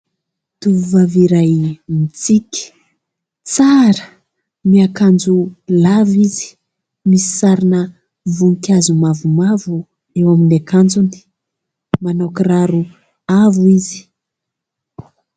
Tovovavy iray mitsiky, tsara, miankanjo lava izy, misy sarina voninkazo mavomavo eo amin'ny akanjony. Manao kiraro avo izy.